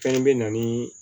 Fɛn bɛ na ni